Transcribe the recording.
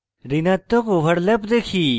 ঋণাত্মক overlap দেখি